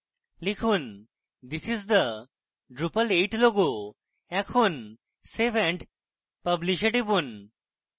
লিখুন this is the drupal 8 logo এখন save and publish এ টিপুন